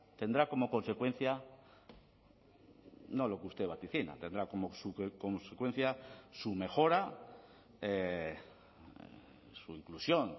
tendrá como consecuencia no lo que usted vaticina tendrá como consecuencia su mejora su inclusión